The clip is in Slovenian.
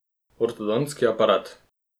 Ortodontski aparat.